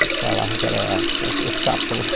Eles falavam que eram os capanga.